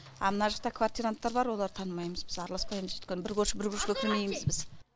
а мына жақта квартиранттар бар оларды танымаймыз біз араласпаймыз өйткені бір көрші бір көршіге кірмейміз біз